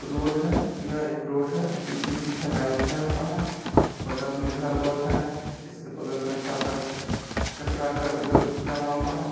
Road है यह एक रोड है पीसीसी से ढलाई किया हुआ है बगल मे घर वर है इसके बगल मे थोड़ा सा कचरा गल-गल जमा हुआ है।